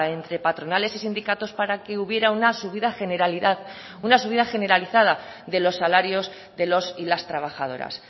entre patronales y sindicatos para que hubiera una subida generalizada de los salarios de los y las trabajadoras